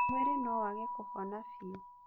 Mwĩrĩ no wage kũhona biũ